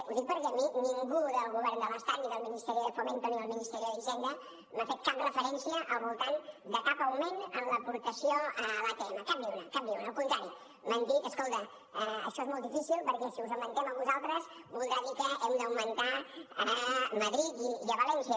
ho dic perquè a mi ningú del govern de l’estat ni del ministerio de fomento ni del ministerio d’hisenda m’ha fet cap referència al voltant de cap augment en l’aportació a l’atm cap ni una cap ni una al contrari m’han dit escolta això és molt difícil perquè si us ho augmentem a vosaltres voldrà dir que ho hem d’augmentar a madrid i a valència